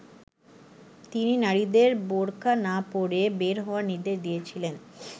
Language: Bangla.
তিনি নারীদের বোরকা না পরে বের হওয়ার নির্দেশ দিয়েছিলেন।